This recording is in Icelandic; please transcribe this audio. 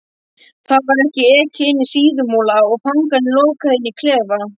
Þá var ekið inní Síðumúla og fangarnir lokaðir inní klefa.